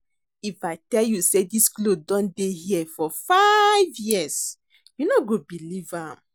If I tell you say dis cloth don dey here for five years you no go believe am